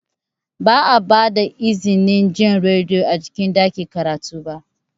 Ba a ba da izinin jin rediyo a cikin ɗakin karatu ba.